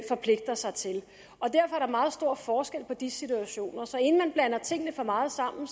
forpligter sig til og meget stor forskel på de situationer så inden man blander tingene for meget sammen